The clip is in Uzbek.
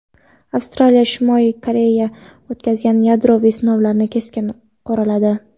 Avstraliya Shimoliy Koreya o‘tkazgan yadroviy sinovlarni keskin qoraladi.